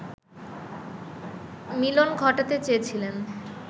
মিলন ঘটাতে চেয়েছিলেন